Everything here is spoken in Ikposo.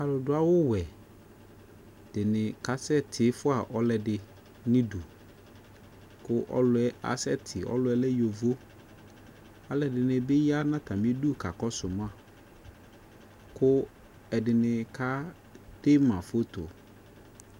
Aaluɖu awʋwɛ ɖini, kasɛtifua ɔluɛɖi nu iɖʋ Ku ɔluɛ aseti Ɔluyɛ lɛ yovo Aluɛɖibi ya n'atamiɖʋ kakɔsuma Ku ɛɖini kedema foto